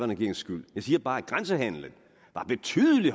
regerings skyld jeg siger bare at grænsehandelen var betydelig